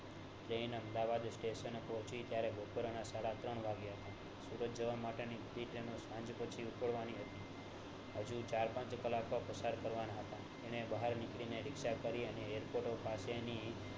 train Ahmedabad station એ પોહચી ત્યારે બપોરના સાડા ત્રણ વાગ્યા હતા સુરત જવા માટેની સાંજ પછી ઉપડવાની હતા હજુ ચાર પંન્ચ કલાક પસાર કરવાના હતા એર્ને બહાર નીકળીને રીક્ષા કરી